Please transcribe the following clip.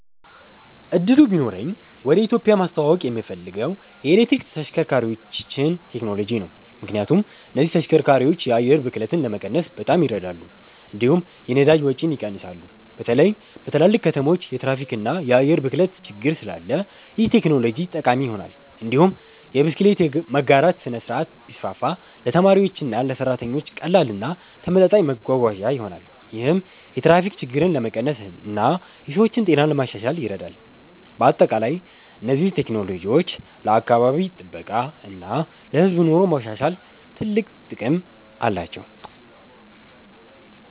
እድሉ ቢኖረኝ ወደ ኢትዮጵያ ማስተዋወቅ የምፈልገው የኤሌክትሪክ ተሽከርካሪዎችን ቴክኖሎጂ ነው። ምክንያቱም እነዚህ ተሽከርካሪዎች የአየር ብክለትን ለመቀነስ በጣም ይረዳሉ፣ እንዲሁም የነዳጅ ወጪን ይቀንሳሉ። በተለይ በትልልቅ ከተሞች የትራፊክ እና የአየር ብክለት ችግር ስላለ ይህ ቴክኖሎጂ ጠቃሚ ይሆናል። እንዲሁም የብስክሌት መጋራት ስርዓት ቢስፋፋ ለተማሪዎችና ለሰራተኞች ቀላል እና ተመጣጣኝ መጓጓዣ ይሆናል። ይህም የትራፊክ ችግርን ለመቀነስ እና የሰዎችን ጤና ለማሻሻል ይረዳል። በአጠቃላይ እነዚህ ቴክኖሎጂዎች ለአካባቢ ጥበቃ እና ለህዝብ ኑሮ ማሻሻል ትልቅ ጥቅም አላቸው።